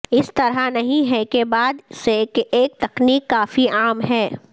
اس طرح نہیں ہے کے بعد سے ایک تکنیک کافی عام ہیں